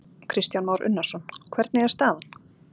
Kristján Már Unnarsson: Hvernig er staðan?